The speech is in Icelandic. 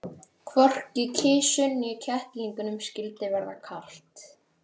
Hvorki kisu né kettlingunum skyldi verða kalt.